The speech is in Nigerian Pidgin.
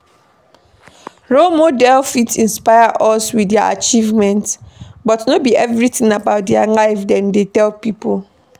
Role model fit inspire us with their achievement but no be everything about their life dem dey tell pipo